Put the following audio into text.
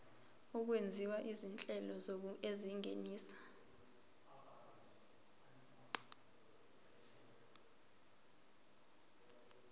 okwenziwa izinhlelo ezingenisa